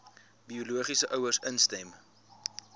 biologiese ouers instem